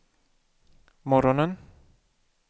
morgonen